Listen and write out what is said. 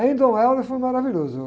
Aí em foi maravilhoso.